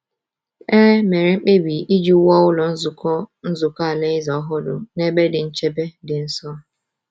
E mere mkpebi iji wuo Ụlọ Nzukọ Nzukọ Alaeze ọhụrụ n’ebe dị nchebe dị nso.